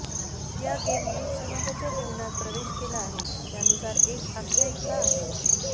या गेमने समाजाच्या जीवनात प्रवेश केला आहे त्यानुसार एक आख्यायिका आहे